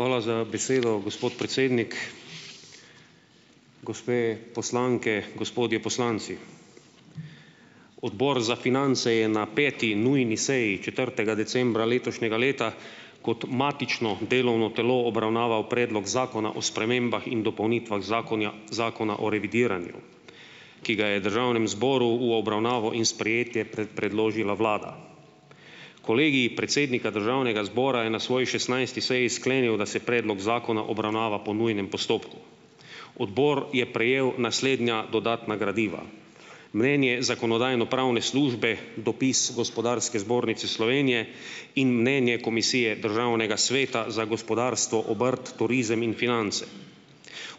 Hvala za besedo, gospod predsednik. Gospe poslanke, gospodje poslanci. Odbor za finance je na peti nujni seji četrtega decembra letošnjega leta kot matično delovno telo obravnaval predlog zakona o spremembah in dopolnitvah zakonja, zakona o revidiranju, ki ga je državnem zboru v obravnavo in sprejetje predložila vlada. Kolegij predsednika državnega zbora je na svoji šestnajsti seji sklenil, da se predlog zakona obravnava po nujnem postopku. Odbor je prejel naslednja dodatna gradiva: mnenje zakonodajno-pravne službe, dopis Gospodarske zbornice Slovenije in mnenje Komisije Državnega sveta za gospodarstvo, obrt, turizem in finance.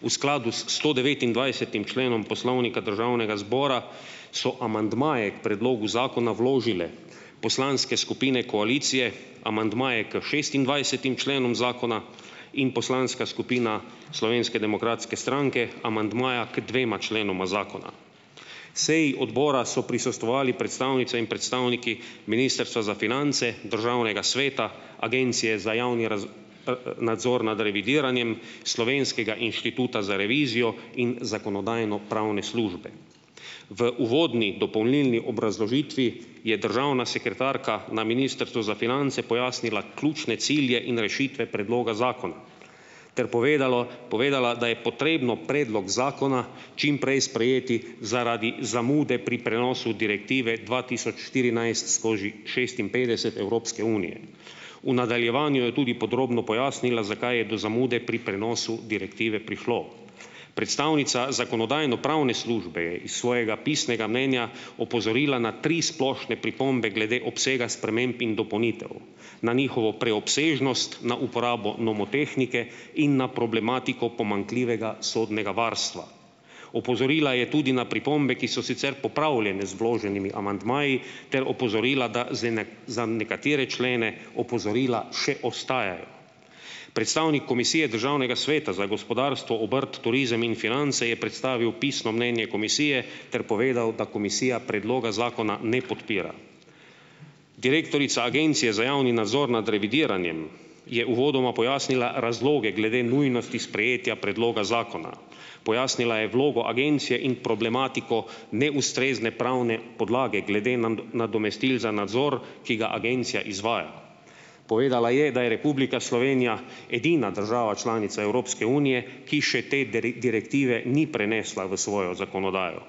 V skladu s stodevetindvajsetim členom Poslovnika Državnega zbora so amandmaje k predlogu zakona vložile poslanske skupine koalicije, amandmaje k šestindvajsetim členom zakona in poslanska skupina Slovenske demokratske stranke amandmaja k dvema členoma zakona. Seji odbora so prisostvovali predstavnice in predstavniki ministrstva za finance, državnega sveta, Agencije za javni nadzor nad revidiranjem, Slovenskega inštituta za revizijo in zakonodajno-pravne službe. V uvodni dopolnilni obrazložitvi je državna sekretarka na ministrstvu za finance pojasnila ključne cilje in rešitve predloga zakona ter povedalo, povedala, da je potrebno predlog zakona čim prej sprejeti zaradi zamude pri prenosu direktive dva tisoč štirinajst skozi šestinpetdeset Evropske unije. V nadaljevanju je tudi podrobno pojasnila, zakaj je do zamude pri prenosu direktive prišlo. Predstavnica zakonodajno-pravne službe je iz svojega pisnega mnenja opozorila na tri splošne pripombe glede obsega sprememb in dopolnitev, na njihovo preobsežnost, na uporabo nomotehnike in na problematiko pomanjkljivega sodnega varstva. Opozorila je tudi na pripombe, ki so sicer popravljene z vloženimi amandmaji, ter opozorila, da zdaj za nekatere člene opozorila še ostajajo. Predstavnik Komisije Državnega sveta za gospodarstvo, obrt, turizem in finance je predstavil pisno mnenje komisije ter povedal, da komisija predloga zakona ne podpira. Direktorica Agencije za javni nadzor nad revidiranjem je uvodoma pojasnila razloge glede nujnosti sprejetja predloga zakona. Pojasnila je vlogo agencije in problematiko neustrezne pravne podlage glede nadomestil za nadzor, ki ga agencija izvaja. Povedala je, da je Republika Slovenija edina država članica Evropske unije, ki še te direktive ni prenesla v svojo zakonodajo.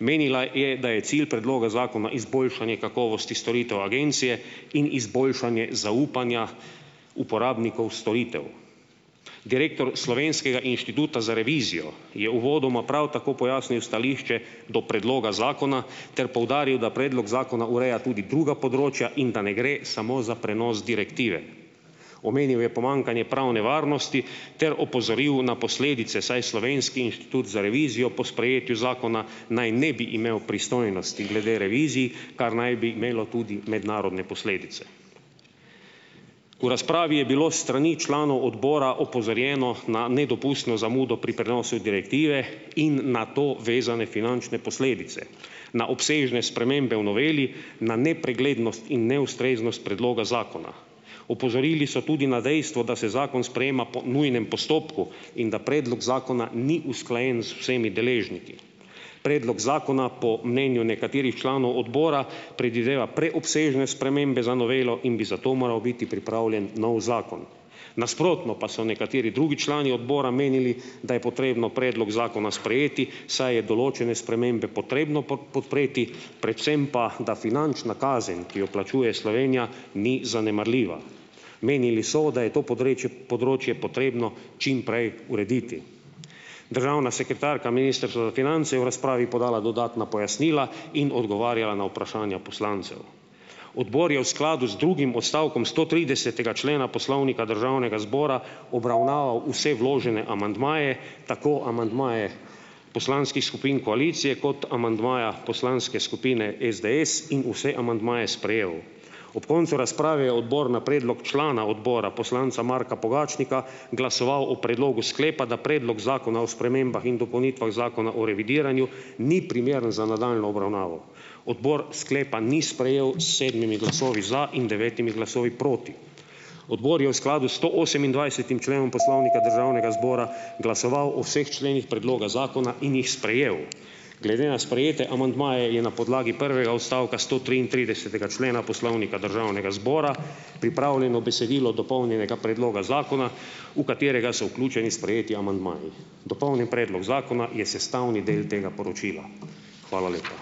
Menila je, da je cilj predloga zakona izboljšanje kakovosti storitev agencije in izboljšanje zaupanja uporabnikov storitev. Direktor Slovenskega inštituta za revizijo je uvodoma prav tako pojasnil stališče do predloga zakona ter poudaril, da predlog zakona ureja tudi druga področja in da ne gre samo za prenos direktive. Omenil je pomanjkanje pravne varnosti ter opozoril na posledice, saj Slovenski inštitut za revizijo po sprejetju zakona naj ne bi imel pristojnosti glede revizij , kar naj bi imelo tudi mednarodne posledice. V razpravi je bilo s strani članov odbora opozorjeno na nedopustno zamudo pri prenosu direktive in na to vezane finančne posledice, na obsežne spremembe v noveli, na nepreglednost in neustreznost predloga zakona. Opozorili so tudi na dejstvo, da se zakon sprejema po nujnem postopku in da predlog zakona ni usklajen z vsemi deležniki. Predlog zakona po mnenju nekaterih članov odbora predvideva preobsežne spremembe za novelo in bi zato moral biti pripravljen novi zakon. Nasprotno pa so nekateri drugi člani odbora menili, da je potrebno predlog zakona sprejeti, saj je določene spremembe potrebno podpreti, predvsem pa, da finančna kazen, ki jo plačuje Slovenija, ni zanemarljiva. Menili so, da je to podrečje področje potrebno čim prej urediti. Državna sekretarka ministrstva za finance je v razpravi podala dodatna pojasnila in odgovarjala na vprašanja poslancev. Odbor je v skladu z drugim odstavkom stotridesetega člena Poslovnika Državnega zbora obravnaval vse vložene amandmaje, tako amandmaje poslanskih skupin koalicije kot amandmaja poslanske skupine SDS in vse amandmaje sprejel. Ob koncu razprave je odbor na predlog člana odbora, poslanca Marka Pogačnika, glasoval o predlogu sklepa, da predlog zakona o spremembah in dopolnitvah zakona o revidiranju ni primeren za nadaljnjo obravnavo. Odbor sklepa ni sprejel s sedmimi glasovi za in devetimi glasovi proti. Odbor je v skladu s stoosemindvajsetim členom Poslovnika Državnega zbora glasoval o vseh členih predloga zakona in jih sprejel. Glede na sprejete amandmaje je na podlagi prvega odstavka stotriintridesetega člena Poslovnika Državnega zbora pripravljeno besedilo dopolnjenega predloga zakona, v katerega so vključeni sprejeti amandmaji. Dopolnjen predlog zakona je sestavni del tega poročila. Hvala lepa.